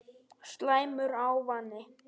Slæmur ávani